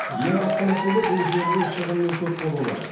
ең басты мәселе бұл жерде шығынның көп болуы